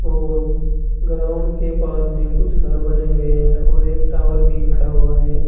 और ग्राउंड के पास में कुछ घर बने हुए हैं और एक टॉवर भी खड़ा हुआ है।